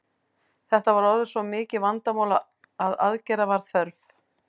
Þetta var orðið svo mikið vandamál að aðgerða var þörf.